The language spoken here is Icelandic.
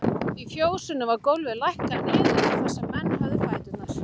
Í fjósinu var gólfið lækkað niður þar sem menn höfðu fæturna.